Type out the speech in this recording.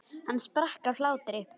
Hann sprakk af hlátri.